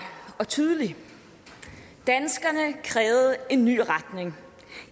og tydelig danskerne krævede en ny retning